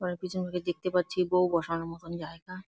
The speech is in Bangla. ঘরের পিছন দিয়ে দেখতে পাচ্ছি বউ বসানোর মতন জায়গা।